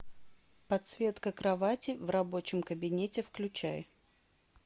подсветка кровати в рабочем кабинете включай